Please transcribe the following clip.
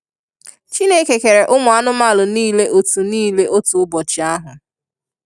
Chineke kere umu anumanu nile otu nile otu ubọchi ahu.